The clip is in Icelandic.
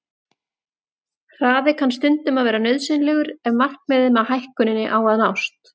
Hraði kann stundum að vera nauðsynlegur ef markmiðið með hækkuninni á að nást.